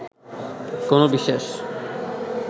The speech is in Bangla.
কোনো বিশেষ